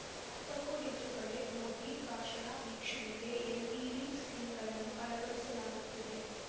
ನಾಲ್ಕಕ್ಕೂ ಹೆಚ್ಚು ಕಡೆ ಮೋದಿ ಭಾಷಣ ವೀಕ್ಷಣೆಗೆ ಎಲ್‌ಇಡಿ ಸ್ಕ್ರೀನ್‌ಗಳನ್ನು ಅಳವಡಿಸಲಾಗುತ್ತಿದೆ